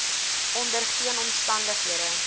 onder geen omstandighede